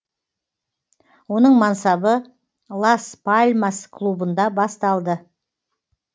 оның мансабы лас пальмас клубында басталды